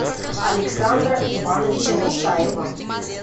александра ивановича мусаева